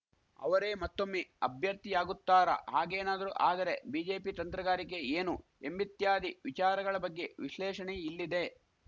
ಅವರೇ ಮತ್ತೊಮ್ಮೆ ಅಭ್ಯರ್ಥಿಯಾಗುತ್ತಾರಾ ಹಾಗೇನಾದರೂ ಆದರೆ ಬಿಜೆಪಿ ತಂತ್ರಗಾರಿಕೆ ಏನು ಎಂಬಿತ್ಯಾದಿ ವಿಚಾರಗಳ ಬಗ್ಗೆ ವಿಶ್ಲೇಷಣೆ ಇಲ್ಲಿದೆ